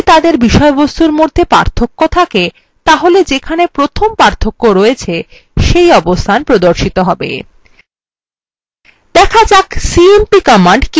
যদি তাদের বিষয়বস্তুর মধ্যে পার্থক্য থাকে তাহলে যেখানে প্রথম পার্থক্য আছে সেই অবস্থান প্রদর্শিত হবে